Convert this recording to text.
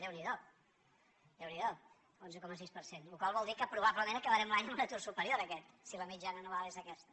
déu n’hi do déu n’hi do onze coma sis per cent cosa que vol dir que probablement acabarem l’any amb un atur superior a aquest si la mitjana anual és aquesta